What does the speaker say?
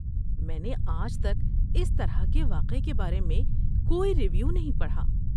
میں نے آج تک اس طرح کے واقعے کے بارے میں کوئی ریویو نہیں پڑھا۔